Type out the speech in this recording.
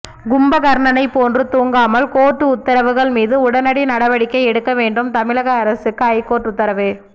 கும்பகர்ணனை போன்று தூங்காமல் கோர்ட்டு உத்தரவுகள் மீது உடனடி நடவடிக்கை எடுக்க வேண்டும் தமிழக அரசுக்கு ஐகோர்ட்டு உத்தரவு